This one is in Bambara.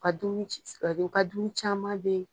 U ka dumuni u ka dumuni caman ben